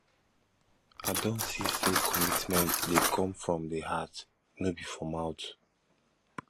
i don see say commitment dey come from di heart no be for mouth